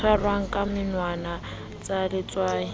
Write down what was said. tshwarwang ka menwana sa letswai